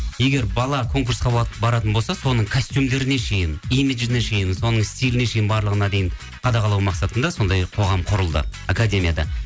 егер бала конкурсқа баратын болса соның костюмдеріне шейін имиджіне шейін соның стиліне шейін барлығына дейін қадағалау мақсатында сондай қоғам құрылды академияда